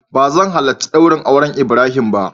Ba zan halarci daurin auren ibrahim ba.